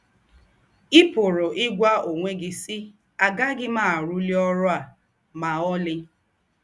Ì pụ̀rù́ ígwà ǒnwé gị, sì: ‘ Àgàghị m àrụ́lí ọ́rụ̀ à mà ọ̀lí. ’